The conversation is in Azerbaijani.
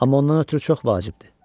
Amma ondan ötrü çox vacibdir.